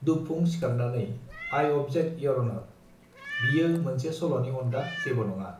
दुबफुं सिखारनानै आइ अबजेक्ट इयर अनर बियो मोनसे सलनि अनगा जेबो नङा